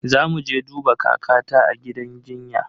Zamu je duba kakata a gidan jinya.